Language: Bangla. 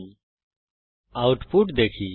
এখন আউটপুট দেখি